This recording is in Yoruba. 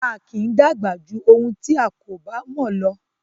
A kì í dàgbà jù ohun tí a kò bá mò lọ